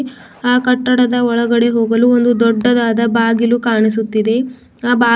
ಆ ಕಟ್ಟಡದ ಒಳಗಡೆ ಹೋಗಲು ಒಂದು ದೊಡ್ಡದಾದ ಬಾಗಿಲು ಕಾಣಿಸುತ್ತಿದೆ ಆ ಬಾಗಿಲ--